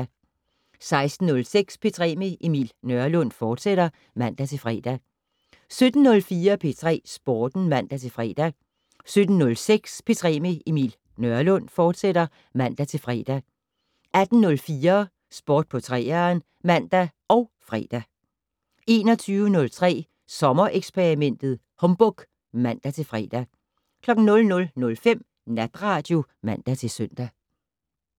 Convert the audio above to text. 16:06: P3 med Emil Nørlund, fortsat (man-fre) 17:04: P3 Sporten (man-fre) 17:06: P3 med Emil Nørlund, fortsat (man-fre) 18:04: Sport på 3'eren (man og fre) 21:03: Sommereksperimentet: Humbug (man-fre) 00:05: Natradio (man-søn)